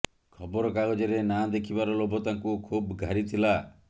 ଖବର କାଗଜରେ ନାଁ ଦେଖିବାର ଲୋଭ ତାଙ୍କୁ ଖୁବ୍ ଘାରିଥିଲା